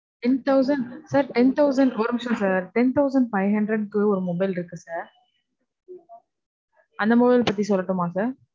Ten thousand. sir, ten thousand. ஒரு நிமிஷம் sir. ten thousand five hundred க்கு ஒரு mobile இருக்கு sir. அந்த mobile பத்தி சொல்லட்டுமா sir?